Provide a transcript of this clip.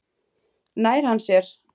Nær hann sér?